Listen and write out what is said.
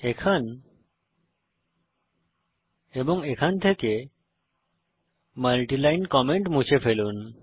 এখান এবং এখান থেকে মাল্টি লাইন কমেন্ট মুছে ফেলুন